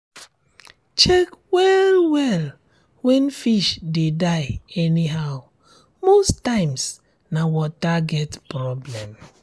check well well when fish dey die anyhow most times na water get problem